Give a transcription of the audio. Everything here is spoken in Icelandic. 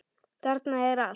Þarna er allt.